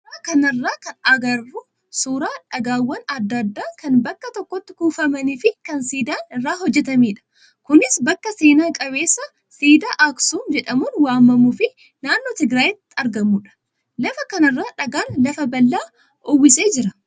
Suuraa kanarraa kan agarru suuraa dhagaawwan adda addaa kan bakka tokkotti kuufamanii fi kan siidaan irraa hojjatamedha. Kunis bakka seena qabeessa siidaa aksuum jedhamuun waamamuu fi naannoo Tigraayitti argamudha. Lafa kanarra dhagaan lafa bal'aa uwwisee jira.